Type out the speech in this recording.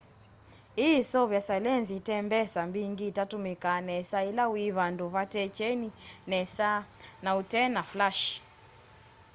ii iseuvasya lenzi itembesa mbingi itatumika nesa ila wi vandu vate kyeni nesa na utena flashi